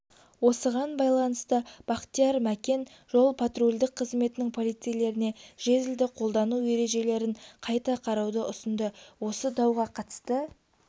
осыған байланысты бақтияр мәкен жол-патрульдік қызметтің полицейлеріне жезлді қолдану ережелерін қайта қарауды ұсынды осы дауға қатысты